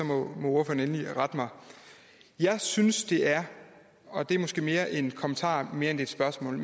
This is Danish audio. må ordføreren endelig rette mig jeg synes det er og det er måske mere en kommentar end et spørgsmål